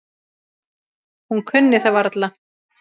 Hún kunni það varla.